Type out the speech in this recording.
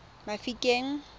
mafikeng